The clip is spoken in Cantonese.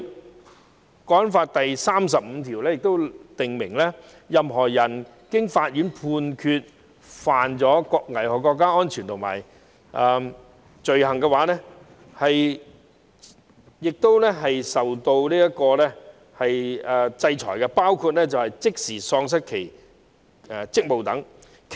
《香港國安法》第三十五條亦訂明，任何人經法院判決犯危害國家安全罪行，須受處罰，包括即時喪失職務等。